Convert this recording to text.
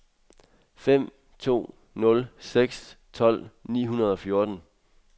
fem to nul seks tolv ni hundrede og fjorten